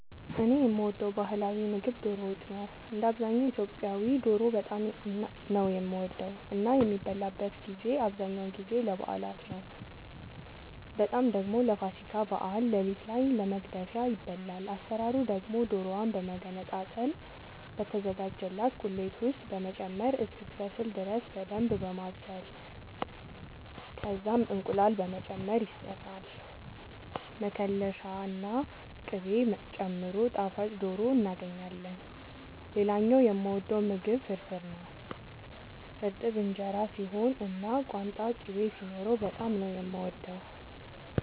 እኔ የምወደው ባህላዊ ምግብ ዶሮ ወጥ ነው። እንደ አብዛኛው ኢትዮጵያዊ ዶሮ በጣም ነው የምወደው እና የሚበላበትን ጊዜ አብዛኛውን ጊዜ ለበዓላት ነው በጣም ደግሞ ለፋሲካ በዓል ሌሊት ላይ ለመግደፊያ ይበላል። አሰራሩ ደግሞ ዶሮዋን በመገነጣጠል በተዘጋጀላት ቁሌት ውስጥ በመጨመር እስክትበስል ድረስ በደንብ በማብሰል ከዛም እንቁላል በመጨመር ይሰራል መከለሻ ና ቅቤ ጨምሮ ጣፋጭ ዶሮ እናገኛለን። ሌላኛው የምወደው ምግብ ፍርፍር ነው። እርጥብ እንጀራ ሲሆን እና ቋንጣ ቅቤ ሲኖረው በጣም ነው የምወደው።